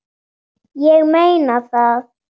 Ég meina það!